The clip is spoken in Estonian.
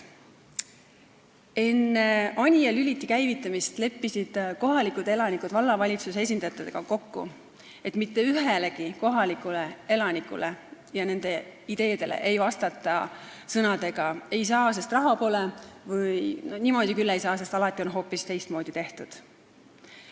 Enne Anija Lüliti käivitamist leppisid kohalikud elanikud vallavalitsuse esindajatega kokku, et mitte ühelegi kohaliku elaniku ideele ei vastata "ei saa, sest raha pole" või "niimoodi küll ei saa, sest alati on hoopis teistmoodi tehtud".